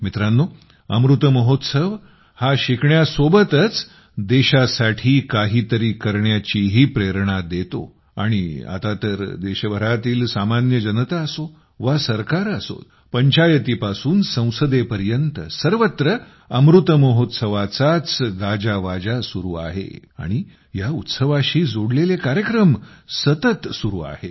मित्रांनो अमृत महोत्सव हा शिकण्यासोबतच देशासाठी काहीतरी करण्याचीही प्रेरणा देतो आणि आता तर देशभरातील सामान्य जनता असो वा सरकारे असो पंचायतीपासून संसदेपर्यंत सर्वत्र अमृत महोत्सवाचाच गाजावाजा सुरू आहे आणि या उत्सवाशी जोडलेले कार्यक्रम सतत सुरू आहेत